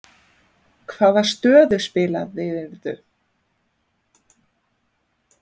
Hvaða stöðu spilaðirðu?